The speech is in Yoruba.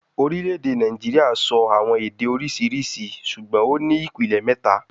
Orile-ede Naijiria sọ awọn ede oriṣiriṣi ṣugbọn o ni ipilẹ mẹta